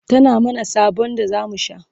tana mana sobon da zamu sha